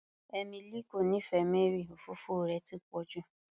Emily kò nífẹẹ Mary, òfófó rẹ̀ ti pọ̀ jù